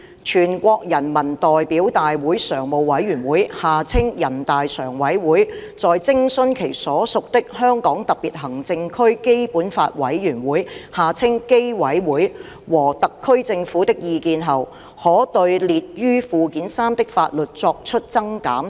全國人民代表大會常務委員會在徵詢其所屬的香港特別行政區基本法委員會和特區政府的意見後，可對列於附件三的法律作出增減。